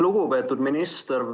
Lugupeetud minister!